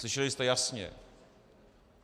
Slyšeli jste jasně.